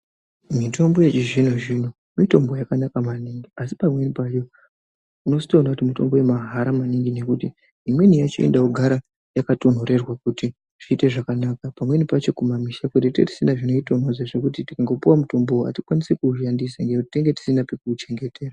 Mitombo yechizvino-zvino mitombo yakanaka maningi asi pamweni pacho unozotoona kuti mitombo yemahala maningi nekuti imweni yacho inoga kugara yakatonhorerwa. Kuti zviite zvakanaka pamweni pacho kumamusha kuti tinenge tisina zvinoitonhodza nekuti tikangopuva mutombovo hatikwanisi kuushandisa nekuti tenenge tisina pekuuchengetera.